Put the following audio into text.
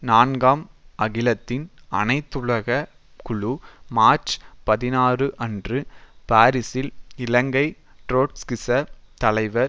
நான்காம் அகிலத்தின் அனைத்துலக குழு மார்ச் பதினாறு அன்று பாரிசில் இலங்கை ட்ரொட்ஸ்கிச தலைவர்